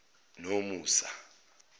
nomusa